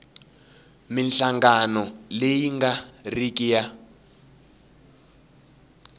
minhlangano leyi nga riki ya